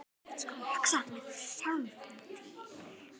Þú ert nú meiri kjaftaskjóðan hugsaði hann með sjálfum sér.